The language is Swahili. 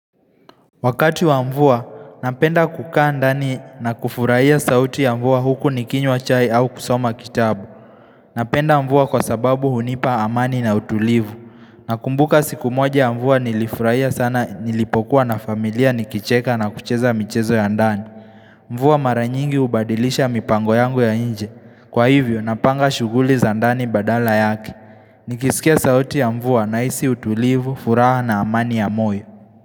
Wakati wa mvua, napenda kukaa ndani na kufurahia sauti ya mvua huku nikinywa chai au kusoma kitabu Napenda mvua kwa sababu hunipa amani na utulivu Nakumbuka siku moja ya mvua nilifurahia sana nilipokuwa na familia nikicheka na kucheza michezo ya ndani Mvua mara nyingi ubadilisha mipango yangu ya nje kwa hivyo napanga shughuli za ndani badala yake Nikisikia sauti ya mvua na hisi utulivu, furaha na amani ya moyo.